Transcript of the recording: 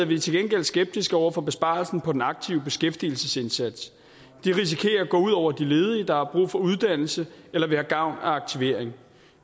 vi til gengæld skeptiske over for besparelsen på den aktive beskæftigelsesindsats det risikerer at gå ud over de ledige der har brug for uddannelse eller vil have gavn af aktivering